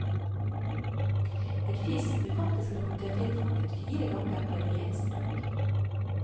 En fisk ble faktisk rapportert innfanget fire ganger på en eneste dag.